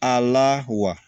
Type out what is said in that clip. A la wa